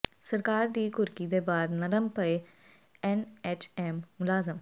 ਸਰਕਾਰ ਦੀ ਘੁਰਕੀ ਦੇ ਬਾਅਦ ਨਰਮ ਪਏ ਐਨਐਚਐਮ ਮੁਲਾਜ਼ਮ